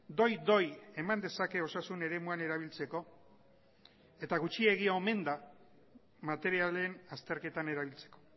doi doi eman dezake osasun eremuan erabiltzeko eta gutxiegi omen da materialen azterketan erabiltzeko